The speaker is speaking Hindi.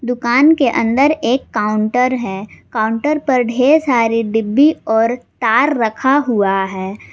दुकान के अंदर एक काउंटर है काउंटर पर ढेर सारी डिब्बी और तार रखा हुआ है।